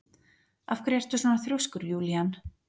Af hverju ertu svona þrjóskur, Júlían?